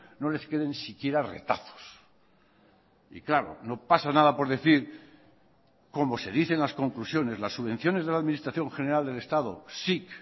no les queden siquiera retazos y claro no pasa nada por decir como se dice en las conclusiones las subvenciones de la administración general del estado sic